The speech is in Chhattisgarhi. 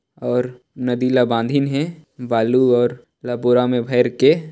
और नदी ला बांधीन है बालू और रपुरा मे भाइर के--